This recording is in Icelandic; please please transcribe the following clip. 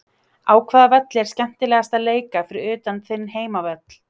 Á hvaða velli er skemmtilegast að leika fyrir utan þinn heimavöll?